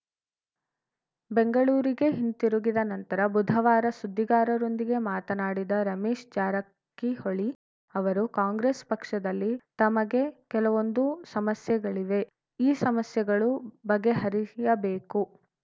ಬೆಂಗಳೂರಿಗೆ ಹಿಂತಿರುಗಿದ ನಂತರ ಬುಧವಾರ ಸುದ್ದಿಗಾರರೊಂದಿಗೆ ಮಾತನಾಡಿದ ರಮೇಶ್‌ ಜಾರಕಿಹೊಳಿ ಅವರು ಕಾಂಗ್ರೆಸ್‌ ಪಕ್ಷದಲ್ಲಿ ತಮಗೆ ಕೆಲವೊಂದು ಸಮಸ್ಯೆಗಳಿವೆ ಈ ಸಮಸ್ಯೆಗಳು ಬಗೆಹರಿಯಬೇಕು